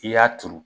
I y'a turu